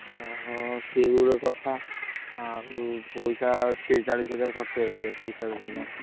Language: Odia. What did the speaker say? ଓଃ ସିଏ ବି ଗୋଟେ କଥା ଆଉ ପଇସା ତିରିଶ ଚାଳିଶ ହଜାର ଖର୍ଚ୍ଚ ହେଇଥିବ ତିରିଶ ଚାଳିଶ ହଜାର?